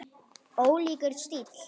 Ólíkur stíll.